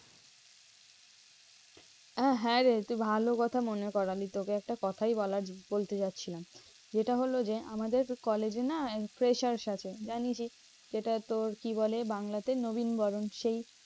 হ্যাঁ রে তুই ভালো কথা মনে করালি। তোকে একটা কথাই বলা বলতে যাচ্ছিলাম। যেটা হলো যে, আমাদের college এ না freshers আছে। জানিসই সেটা তো কি বলে বাংলা তে? নবীন বরণ। সেই